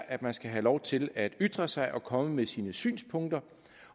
at man skal have lov til at ytre sig og komme med sine synspunkter